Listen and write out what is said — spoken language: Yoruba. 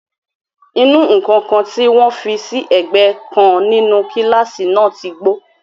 Ìnù-ǹkan kan tí wọn fi sí ẹ̀gbẹ́ kan nínú kílásì náà ti gbó.